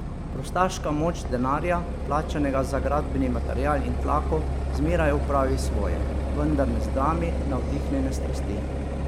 Prostaška moč denarja, plačanega za gradbeni material in tlako, zmeraj opravi svoje, vendar ne zdrami navdihnjene strasti.